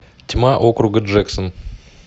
тьма округа джексон